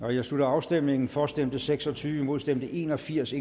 jeg slutter afstemningen for stemte seks og tyve imod stemte en og firs